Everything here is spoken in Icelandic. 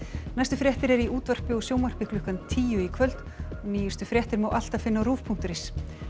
næstu fréttir eru í útvarpi og sjónvarpi klukkan tíu í kvöld og nýjustu fréttir má alltaf finna á ruv punktur is